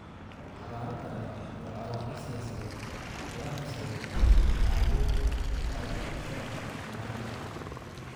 Abaaro daran iyo colaado siyaasadeed ayaa horseeday macaluul ay ku dhinteen kumannaan qof.